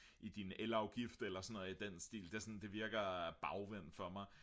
i din elafgift eller sådan noget i den stil det virker bagvendt for mig